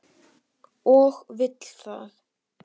Og vill það.